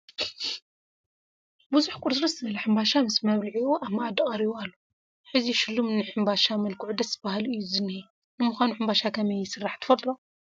ቁርስራስ ሕንባሻ ምስ መብልዒዑ ኣብ መኣዲ ቀሪቡ ኣሎ፡፡ ሕዚ ሽሉም ሕንባሻ መልክዑ ደስ በሃሊ እዩ ዝኒሀ፡፡ ንምዃኑ ሕምባሻ ከመይ ይስራሕ?